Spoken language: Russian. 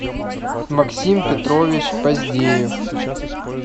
максим петрович поздеев